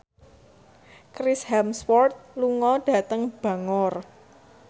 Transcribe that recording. Chris Hemsworth lunga dhateng Bangor